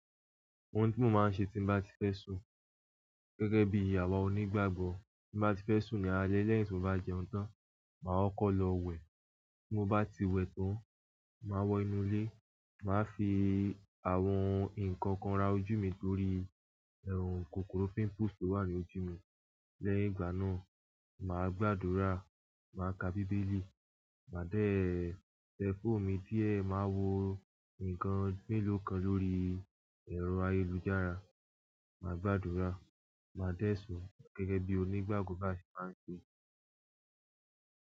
Ohun tí mo máa ń ṣe tí bá ti fẹ́ sùn gẹ́gẹ́ bí awa onígbàgbọ́, tí bá ti fẹ́ sùn ní alẹ́ lẹ́yìn tí mo bá jẹun tán, màá kọ́ lọ wẹ̀. Mo bá ti wẹ̀ tán, màá wọ inú ilé, màá fi àwọn nǹkan kan ra ojú mi torí ẹrù kòkòrò pimples tó wà ní ojú mi. Lẹ́yìn ìgbà náà, màá gbàdúrà, màá ka Bíbélì, màá dẹ́ẹ, tẹ phone mi díẹ̀, màá wo nǹkan méló kan lórí ẹ̀rọ ayélujára, màá gbàdúrà, màá dẹ́ sùn gẹ́gẹ́ bí onígbàgbọ́ bá ṣe máa ń ṣe.